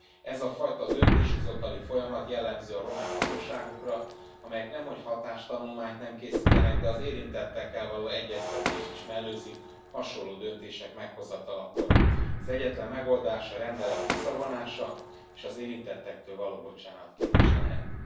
Ez a fajta döntéshozatali folyamat jellemző a román hatóságokra, amelyek nemhogy hatástanulmányt nem készítenek, de az érintettekkel való egyeztetést is mellőzik hasonló döntések meghozatalakor. Az egyetlen megoldás a rendelet visszavonása és az érintettektől való bocsánatkérés lehet.